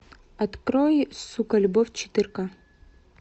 открой сука любовь четыре ка